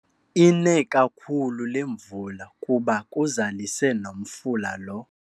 Ine kakhulu le mvula kuba kuzalise nomfula lo.